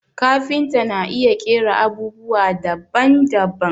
Kafinta na iya ƙera abubwa daban daban